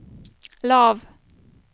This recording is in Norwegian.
lav